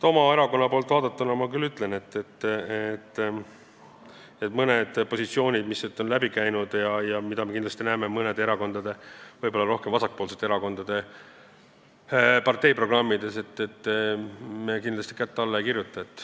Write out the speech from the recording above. Oma erakonna poolt vaadatuna ma ütlen küll, et mõnele positsioonile, mis siit on läbi käinud ja mida me näeme mõnede erakondade, võib-olla rohkem vasakpoolsete erakondade parteiprogrammis, me kindlasti alla ei kirjuta.